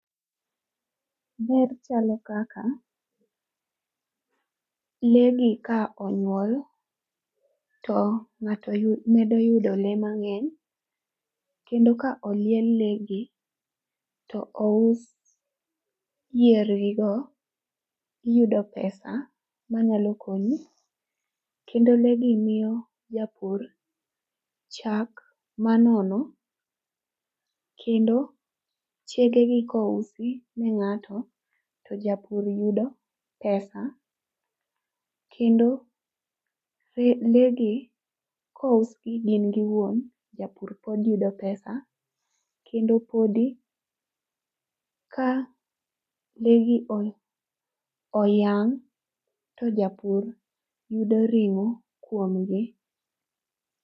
Ber chalo kaka, lee gi ka onywol, to ng'ato medo yudo lee mang'eny. Kendo ka oliel lee gi to ous yiergigo, iyudo pesa manyalo konyi. Kendo lee gi miyo japur chak manono. Kendo chegegi kousi ne ng'ato, to japur yudo pesa. Kendo lee gi kousgi gin giwuon, japur pod yudo pesa. Kendo podi ka lee gi oyang',to japur yudo ring'o kuomgi.